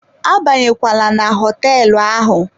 Abanyela na hoteelu ahụ.